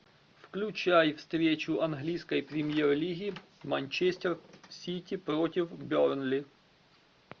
включай встречу английской премьер лиги манчестер сити против бернли